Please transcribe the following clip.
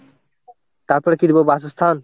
তারপরে কি দেবো বাসস্থান?